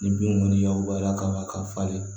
Ni bin kɔni y'abaliya kama k'a falen